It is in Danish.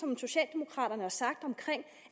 så har sagt om